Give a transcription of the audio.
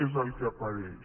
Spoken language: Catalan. és el que apareix